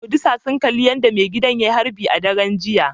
Furodusa sun kalli yadda maigidan ya yi harbi a daren jiya